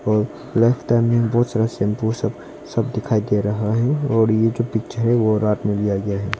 और लह तह मे बहोत सारा शैंपू सब सब दिखाई दे रहा है और ये जो पिक्चर है रात में लिया गया है।